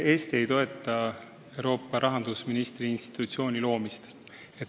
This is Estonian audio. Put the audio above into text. Eesti ei toeta Euroopa rahandusministri institutsiooni loomist.